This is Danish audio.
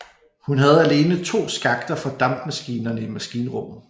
Hun havde alene to skakter fra dampmaskinerne i maskinrummet